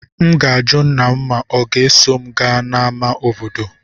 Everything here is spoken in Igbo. M ga-ajụ nna m ma ọ ga-eso m gaa n'ámá obodo.